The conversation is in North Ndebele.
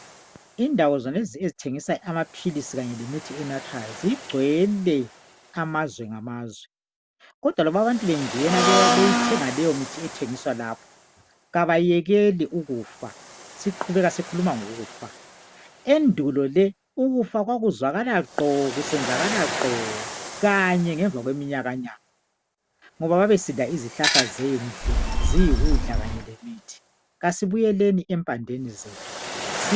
Indawo zonezi ezithengisa amapilisi khanye lemithi enathwayo zigcwele amazwe ngamazwe kodwa noma abantu bengena beyithenga leyo mithi ethengiswa lapho kabayekela ukufa. Siqhubeka sikhuluma ngokufa. Endulo le ukufa kwakuzwakala gqo kusenzakala gqo khanye ngemva kweminyakanyaka ngoba babesidla izihlahla zendle ziyikudla khanye lemithi. Kasibuyeleni emphandeni zethu.